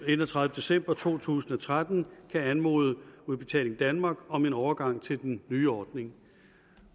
enogtredivete december to tusind og tretten kan anmode udbetaling danmark om en overgang til den nye ordning